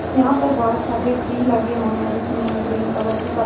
यहाँ पर बहोत सारे ट्री लगे हुए है जिसमे ग्रीन कलर की पत्त--